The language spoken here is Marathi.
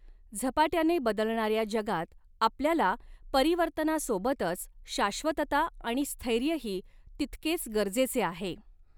झपाट्याने बदलणाऱ्या जगात आपल्याला परिवर्तनासोबतच शाश्वतता आणि स्थैर्यही तितकेच गरजेचे आहे.